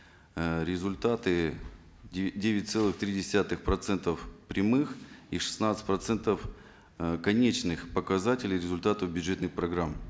э результаты девять целых три десятых процентов прямых и шестнадцать процентов э конечных показателей результатов бюджетных программ